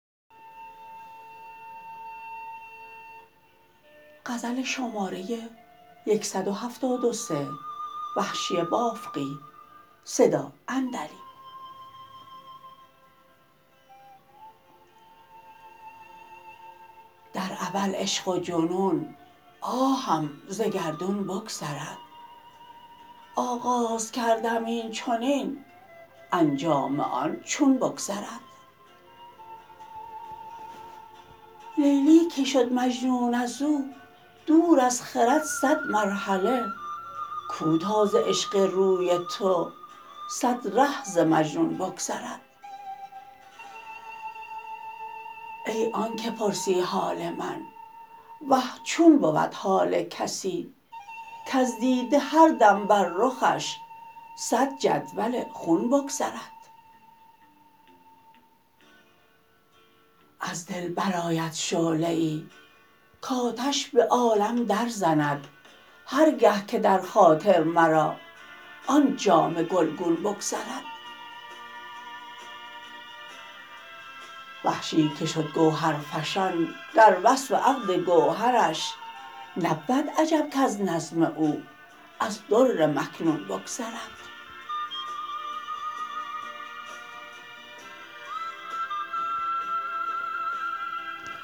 در اول عشق و جنون آهم ز گردون بگذرد آغاز کردم اینچنین انجام آن چون بگذرد لیلی که شد مجنون ازو دور از خرد سد مرحله کو تا ز عشق روی تو سد ره ز مجنون بگذرد ای آنکه پرسی حال من وه چون بود حال کسی کزدیده هر دم بر رخش سد جدول خون بگذرد از دل برآید شعله ای کاتش به عالم در زند هر گه که در خاطر مرا آن جامه گلگون بگذرد وحشی که شد گوهرفشان در وصف عقد گوهرش نبود عجب کز نظم او از در مکنون بگذرد